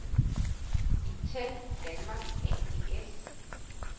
Intel Denmark ApS